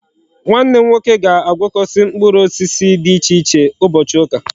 Nwanne m nwoke ga agwokosi mkpuru osisi di iche iche ubochi uka